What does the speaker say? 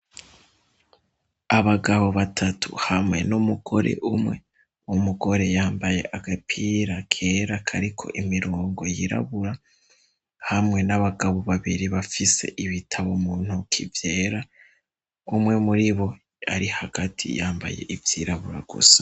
Abagabo batatu hamwe n'umugore umwe, umugore yambaye agapira kera kariko imirongo yirabura hamwe n'abagabo babiri bafise ibitabo muntuki vyera. Umwe muri bo ari hagati yambaye ivyirabura gusa.